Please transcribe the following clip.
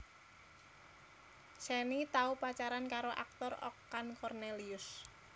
Shenny tau pacaran karo aktor Okan Kornelius